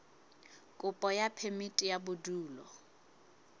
kopo ya phemiti ya bodulo